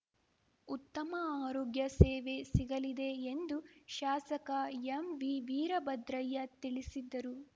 ಉತ್ತಮ ಆರೋಗ್ಯ ಸೇವೆ ಸಿಗಲಿದೆ ಎಂದು ಶಾಸಕ ಎಂವಿವೀರಭದ್ರಯ್ಯ ತಿಳಿಸಿದ್ದರು